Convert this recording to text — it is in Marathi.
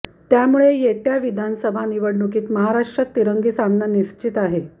त्यामुळे येत्या विधानसभा निवडणुकीत महाराष्ट्रात तिरंगी सामना निश्चित आहे